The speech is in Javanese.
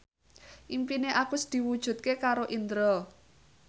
impine Agus diwujudke karo Indro